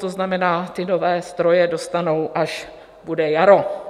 To znamená, ty nové stroje dostanou, až bude jaro.